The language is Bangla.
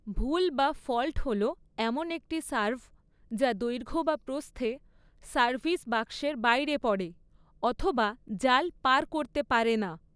ভুল বা ফল্ট হল এমন একটি সার্ভ যা দৈর্ঘ্য বা প্রস্থে সার্ভিস বাক্সের বাইরে পড়ে অথবা জাল পার করতে পারে না।